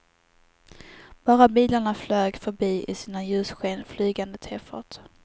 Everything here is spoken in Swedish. Bara bilarna flög förbi i sina ljussken, flygande tefat.